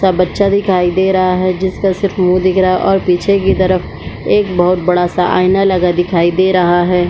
--सा बच्चा दिखाई दे रहा है जिसका सिर्फ मुँह दिख रहा है और पीछे की तरफ एक बोहत बड़ा सा आइना लगा दिखाई दे रहा है।